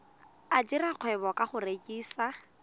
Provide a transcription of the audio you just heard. dira kgwebo ka go rekisa